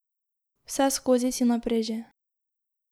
Vseskozi si na preži.